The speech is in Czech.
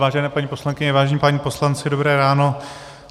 Vážené paní poslankyně, vážení páni poslanci, dobré ráno.